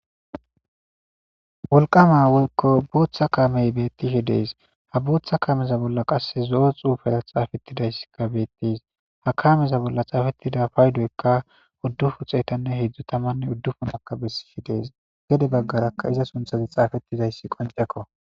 Wolqama woyko booththa kaamey bettishi dees ha booththa kameza bolla qas zo7o xuufera xaafettidayss gabettis ha kameza bolla xaafettida paydoykka uddufu xeetanne hedzdzu tamanne uddufunaka bessishi dees gede baggarakka iza sunthazi xaafettizayssi qonceko